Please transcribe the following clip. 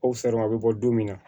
O a bɛ bɔ don min na